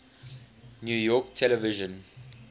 new york television